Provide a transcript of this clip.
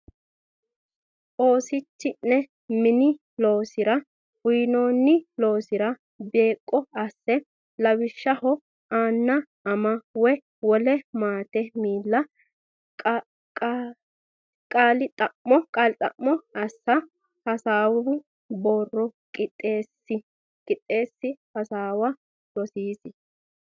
Oosichi ne mine loosara uynoonni loosira beeqqo asse lawishshaho anna ama woy wole maatete miilla qaali xa mo assa hasaawu borro qixxeessi hasaawa rosiisi.